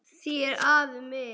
Þér afi minn.